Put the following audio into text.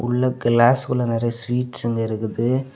உள்ள கிளாஸ் குள்ள நிறைய ஸ்வீட்ஸ்ங்க இருக்குது.